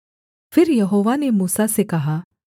फिर यहोवा ने मूसा से कहा